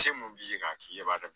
Se mun b'i ye k'a k'i yɛrɛ b'a dɔn